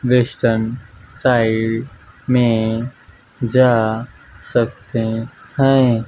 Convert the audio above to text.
Western side में जा सकते हैं।